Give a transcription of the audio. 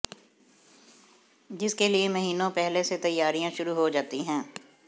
जिसके लिए महीनों पहले से तैयारियां शुरू हो जाती हैं